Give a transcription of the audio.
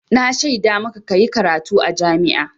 Na shaida maka ka yi karatu a jami'a.